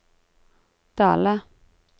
Dale